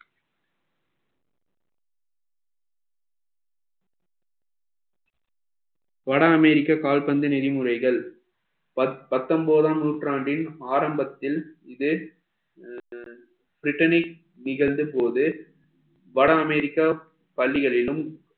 வட அமெரிக்கன் கால்பந்து நெறிமுறைகள் பத்~ பத்தொன்பதாம் நூற்றாண்டின் ஆரம்பத்தில் இது britainic நிகழ்ந்து போகுது வட அமெரிக்கா பள்ளிகளிலும்